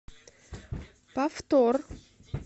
повтор